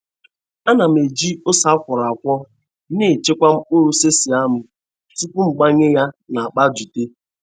Ana m eji ose a kwọrọ akwọ na-echekwa mkpụrụ sesame m tupu m gbanye ya n'akpa jute.